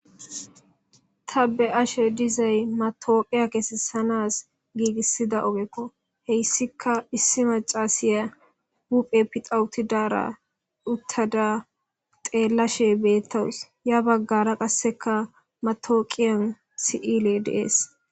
Ta be'ashe dizay matawoqiya kessisanas giigisida ogeko hessika issi maccasiya huphe pixa uttidara uttada xeellashe beetawus ya baggara qasseka matawoqiya si'iley de'es.